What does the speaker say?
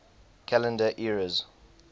calendar eras